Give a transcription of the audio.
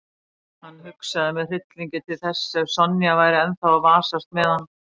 Hann hugsaði með hryllingi til þess ef Sonja væri ennþá að vasast með hann.